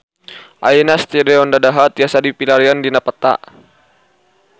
Ayeuna Stadion Dadaha tiasa dipilarian dina peta